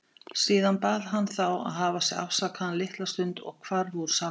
Síðan bað hann þá að hafa sig afsakaðan litla stund og hvarf úr salnum.